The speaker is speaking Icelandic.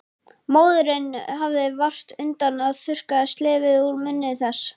Og móðirin hafði vart undan að þurrka slefið úr munni þess.